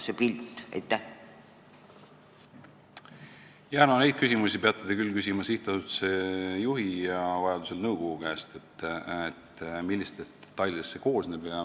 Seda, millistest detailidest see koosneb, peate te küll küsima sihtasutuse juhi ja vajadusel nõukogu käest.